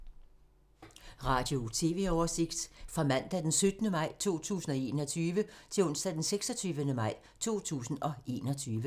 Radio/TV oversigt fra mandag d. 17. maj 2021 til onsdag d. 26. maj 2021